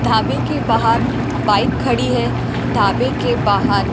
धाबे के बाहर बाइक खड़ी है ढाबे के बाहर।